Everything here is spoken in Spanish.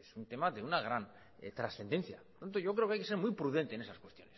es un tema de una gran trascendencia por lo tanto yo creo que hay que ser muy prudente en esas cuestiones